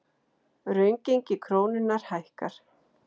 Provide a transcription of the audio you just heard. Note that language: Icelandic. Raungengi krónunnar hækkar